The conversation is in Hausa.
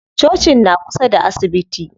Cocin na kusa da asibiti.